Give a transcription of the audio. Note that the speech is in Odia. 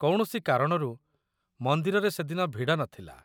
କୌଣସି କାରଣରୁ ମନ୍ଦିରରେ ସେଦିନ ଭିଡ଼ ନଥିଲା।